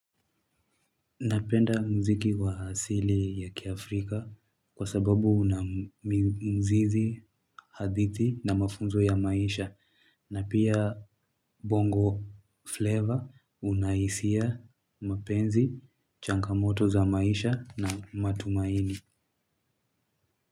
Napenda muziki wa asili ya kiafrika kwa sababu una mzizi, hadithi na mafunzo ya maisha na pia bongo flavor una hisia mapenzi, changamoto za maisha na matumaini.